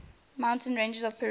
mountain ranges of peru